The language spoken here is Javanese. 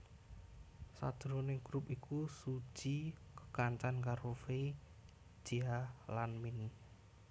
Sajroning grup iku Suzy kekancanan karo Fei Jia lan Min